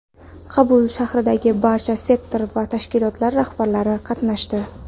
Qabulda shahardagi barcha sektor va tashkilot rahbarlari qatnashdi.